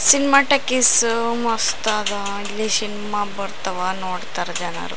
Cinema talkies ಮಸ್ತದಾ ಇಲ್ಲಿ cinema ಬರ್ತಾವಾ ನೋಡ್ತಾರೆ ಜನರು .